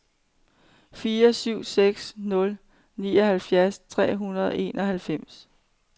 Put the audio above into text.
fire syv seks nul nioghalvfjerds tre hundrede og enoghalvfems